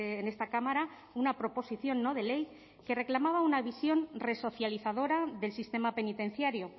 en esta cámara una proposición no de ley que reclamaba una visión resocializadora del sistema penitenciario